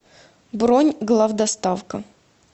бронь главдоставка